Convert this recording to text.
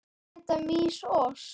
Éta mýs ost?